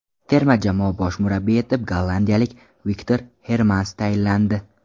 Terma jamoa bosh murabbiyi etib gollandiyalik Viktor Hermans tayinlandi.